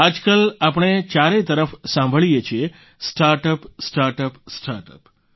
આજકાલ આપણે ચારેય તરફ સાંભળીએ છીએ સ્ટાર્ટઅપ સ્ટાર્ટઅપ સ્ટાર્ટઅપ